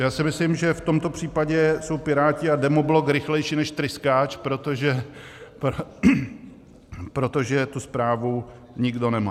Já si myslím, že v tomto případě jsou Piráti a demoblok rychlejší než tryskáč, protože tu zprávu nikdo nemá.